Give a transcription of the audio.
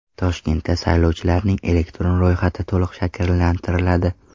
Toshkentda saylovchilarning elektron ro‘yxati to‘liq shakllantiriladi.